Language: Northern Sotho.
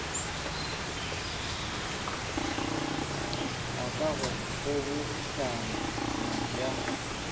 ga ka go kgobokano ya